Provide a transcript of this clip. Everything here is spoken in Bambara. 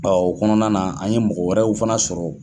o kɔnɔna na an ye mɔgɔ wɛrɛw fana sɔrɔ.